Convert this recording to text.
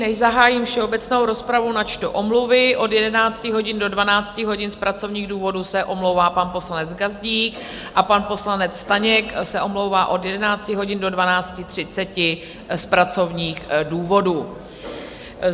Než zahájím všeobecnou rozpravu, načtu omluvy: od 11 hodin do 12 hodin z pracovních důvodů se omlouvá pan poslanec Gazdík a pan poslanec Staněk se omlouvá od 11 hodin do 12.30 z pracovních důvodů.